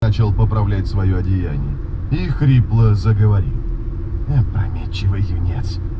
начал поправлять своё одеяние и хрипло